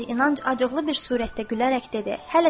Əmir İlyanc acıqlı bir surətdə gülərək dedi: